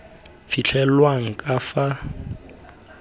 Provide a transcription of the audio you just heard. fitlhelwang ka fa tlase ga